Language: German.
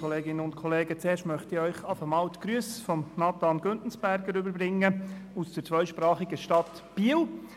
Als Erstes möchte Ihnen die Grüsse von Nathan Güntensperger aus der zweisprachigen Stadt Biel überbringen.